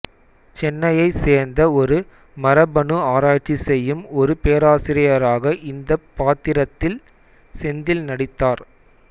சென்னையைச் சேர்ந்த ஒரு மரபணு ஆராய்ச்சி செய்யும் ஒரு பேராசிரியராக இந்தப் பாத்திரத்தில் செந்தில் நடித்தார்